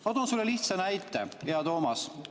Ma toon sulle lihtsa näite, hea Toomas.